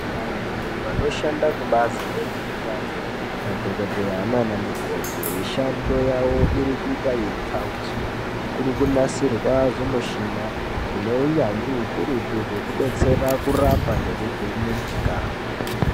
Vantu vanoshanda kubazi rezveutano, madhokodheya naanamukoti, mishando yavo iri kuita yeipfawiswa. Kuri kunasirwa zvimushina ,zvine unyanzvi ukurutu, zvekubetsera kurapa nekuvheneka.